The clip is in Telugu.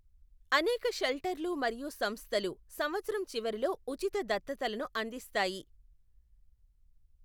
అనేక షెల్టర్లు మరియు సంస్థలు సంవత్సరం చివరిలో ఉచిత దత్తతలను అందిస్తాయి.